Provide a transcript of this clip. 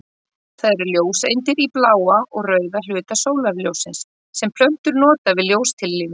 Það eru ljóseindir í bláa og rauða hluta sólarljóssins sem plöntur nota við ljóstillífun.